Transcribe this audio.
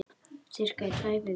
Í sirka tvær vikur.